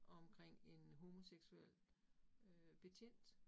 Omkring en homoseksuel øh betjent